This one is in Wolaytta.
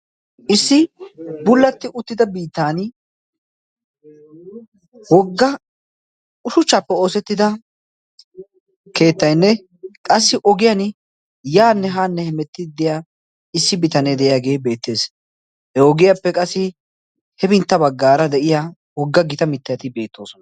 issi bullatti uttida bitan wogga ushuchchaappe oosettida keettaynne qassi ogiyan yaanne haanne hemettidi de'ya issi bitanee de'iyaagee beettees. he ogiyaappe qassi hebintta baggaara de'iya wogga gita mittayati beettoosona.